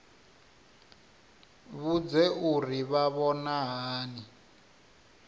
vhudze uri vha vhona hani